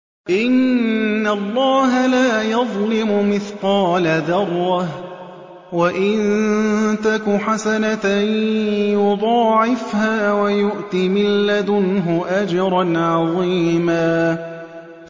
إِنَّ اللَّهَ لَا يَظْلِمُ مِثْقَالَ ذَرَّةٍ ۖ وَإِن تَكُ حَسَنَةً يُضَاعِفْهَا وَيُؤْتِ مِن لَّدُنْهُ أَجْرًا عَظِيمًا